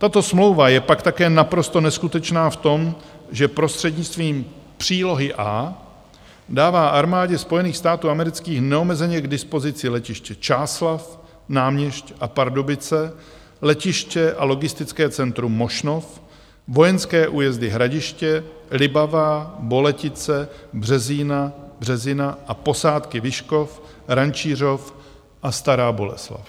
Tato smlouva je pak také naprosto neskutečná v tom, že prostřednictvím přílohy A dává Armádě Spojených států amerických neomezeně k dispozici letiště Čáslav, Náměšť a Pardubice, letiště a logistické centrum Mošnov, vojenské újezdy Hradiště, Libavá, Boletice, Březina a posádky Vyškov, Rančířov a Stará Boleslav.